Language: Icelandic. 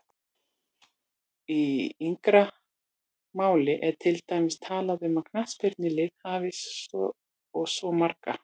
Í yngra máli er til dæmis talað um að knattspyrnulið hafi svo og svo margan